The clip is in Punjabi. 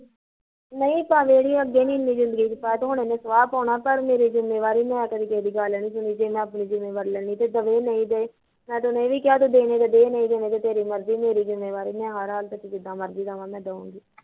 ਨਹੀਂ ਪਾਇਆ ਇਹਨੇ ਅੱਗੇ ਨੀ ਜ਼ਿੰਦਗੀ ਚ ਪਾਇਆ ਤੇ ਹੁਣ ਇਹਨੇ ਕੀ ਸਵਾ ਪਾਉਣਾ, ਪਰ ਮੇਰੀ ਜਿੱਮੇਵਾਰੀ ਮੈਂ ਕਦੀ ਕਿਸੇ ਦੀ ਗੱਲ ਨੀ ਸੁਣੀ ਜੇ ਮੈਂ ਆਪਣੀ ਜਿੱਮੇਵਾਰੀ ਲੈਂਦੀ ਤੇ ਏਹ ਡੈਣ ਹਿ ਦਐ ਮੈਂ ਤੇ ਉਹਨੂੰ ਏਹ ਵੀ ਕਿਹਾਂ ਤੂੰ ਦੇਣੇ ਤਾਂ ਦੇ ਨਹੀਂ ਦੇਣੇ ਤੇਰੀ ਮਰਜ਼ੀ ਮੇਰੀ ਜਿੱਮੇਵਾਰੀ ਮੈਂ ਹਰ ਹਾਲਤ ਚ ਜਿਦਾਂ ਮਰਜ਼ੀ ਦੇਵਾ ਦਵਾਂਗੀ